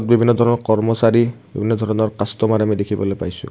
বিভিন্ন ধৰণৰ কৰ্মচাৰী বিভিন্ন ধৰণৰ কাষ্ট'মাৰ আমি দেখিবলৈ পাইছোঁ।